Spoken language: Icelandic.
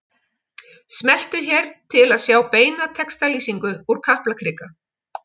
Smelltu hér til að sjá beina textalýsingu úr Kaplakrika